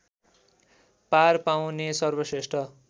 पार पाउने सर्वश्रेष्ठ